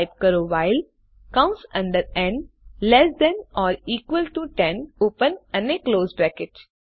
type કરો while કૌંસ અંદર n less than or equal to 10 open અને ક્લોસ કૌંસ